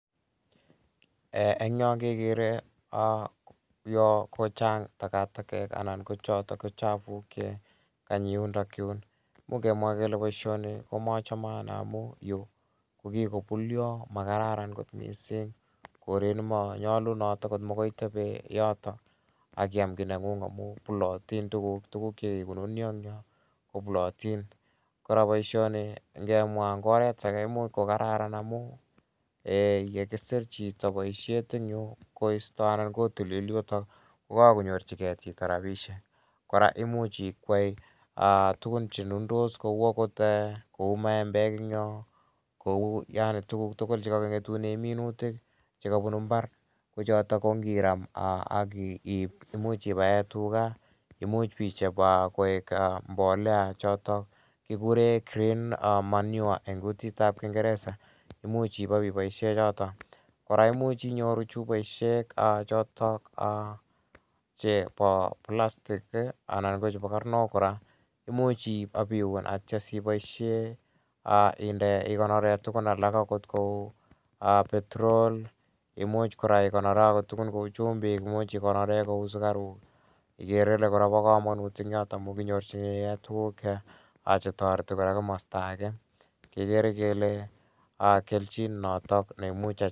Eng' yo kekere yo kochang' takataket anan ko chotok chafuk che kanyi yundayun. Imuch kemwa kele poishoni ko machame ane amu yu ko kikopulya, makararan kot missing', koret ne manyalunot agot makoi itepe yotok ak iam ki neng'ung', amu pulatin tuguk, tuguk che kikonunya eng' yoh ko pulatin. Kora poishoni ngemwa eng' orwt age ko imuch ko kararan amun ye kisir chito poishet en yu, koista anan kotilil yutok ko kakonyorchigei chito rapishek. Kora imuch ikwei tugun che nundos kou maembek eng' yo, kou yani tuguk tugul che kang'etune minitik che kapunu mbar, ko chotok che ngiram akipae tuga imuch pichop koek mbolea chotok kikure green manure eng' kutit ap kingeresa. Imuch ipa ipaishe chotok. Kora imuchi inyoru chupoishek chotok chepo plastik anan ko chepo karnok kora, imuch a ipiun akipoishe ikonore tugun alak kou petrol, imuch ikonore tugun kou chumbik, imuchi ikonore sukaruk igere ile pa kamanut amu kinyorchinigei tuguk che tareti komasta age kekere kele kelchin notok ne imuch anyor.